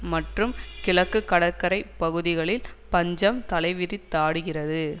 மற்றும் கிழக்கு கடற்கரை பகுதிகளில் பஞ்சம் தலைவிரித்தாடுகிறது